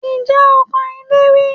Ǹjẹ́ o kan ilé rí?